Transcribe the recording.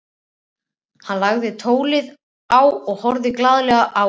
Hann lagði tólið á og horfði glaðlega á Örn.